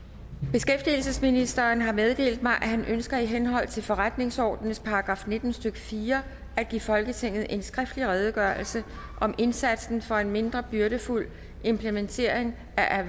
beskæftigelsesministeren har meddelt mig at han ønsker i henhold til forretningsordenens § nitten stykke fire at give folketinget en skriftlig redegørelse om indsatsen for en mindre byrdefuld implementering af